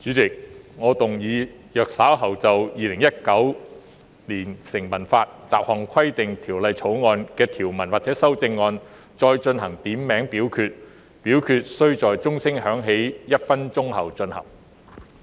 主席，我動議若稍後就《2019年成文法條例草案》的條文或其修正案進行點名表決，表決須在鐘聲響起1分鐘後進行。